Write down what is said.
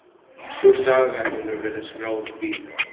Sú saga hefur verið skráð víða.